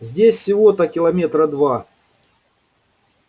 здесь всего-то километра два